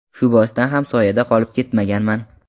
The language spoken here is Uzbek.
Shu boisdan ham soyada qolib ketmaganman.